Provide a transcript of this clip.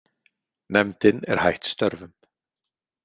Nefndin er hætt störfum.